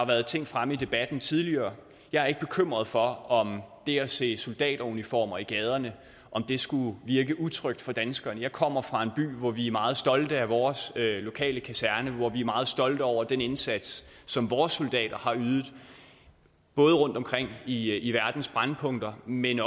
været ting fremme i debatten tidligere og jeg er ikke bekymret for om det at se soldateruniformer i gaderne skulle virke utrygt for danskerne jeg kommer fra en by hvor vi er meget stolte af vores lokale kaserne hvor vi er meget stolte over den indsats som vores soldater har ydet både rundtomkring i i verdens brændpunkter men